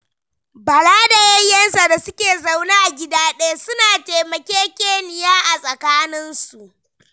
Bala da yayyensa da suke zaune a gida ɗaya, suna taimakekeniya a tsakaninsu.